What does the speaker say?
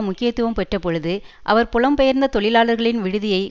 முக்கியத்துவம் பெற்ற பொழுது அவர் புலம் பெயர்ந்த தொழிலாளர்களின் விடுதியை